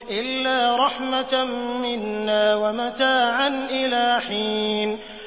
إِلَّا رَحْمَةً مِّنَّا وَمَتَاعًا إِلَىٰ حِينٍ